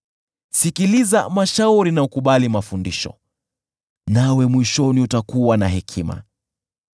Sikiliza mashauri na ukubali mafundisho, nawe mwishoni utakuwa na hekima.